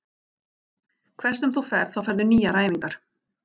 Hvert sem þú ferð þá færðu nýjar æfingar.